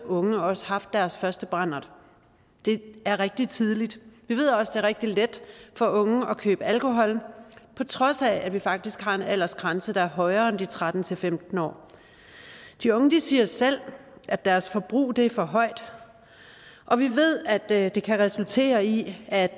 unge også haft deres første brandert det er rigtig tidligt vi ved også rigtig let for unge at købe alkohol på trods af at vi faktisk har en aldersgrænse der er højere end de tretten til femten år de unge siger selv at deres forbrug er for højt og vi ved at det kan resultere i at